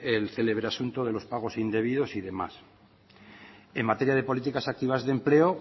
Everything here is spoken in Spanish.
el célebre asunto de los pagos indebidos y demás en materia de políticas activas de empleo